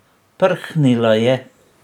Prhnila je.